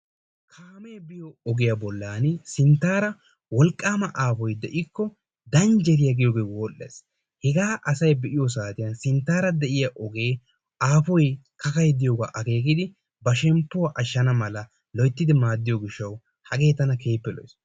Kaamee biyo ogiya bollan n wolqqaama aafoy de'ikko danjjeriya giyogee wodhdhees. Hegaa asay be'iyo saatiyan sinttaara de'iya ogee aafoy kakay diyogaa akeekidi ba shemppuwa ashshana mala loyttidi maaddiyo gishshawu hagee tana keehippe lo'ees.